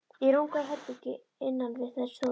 Í rúmgóðu herbergi innan við þær stóð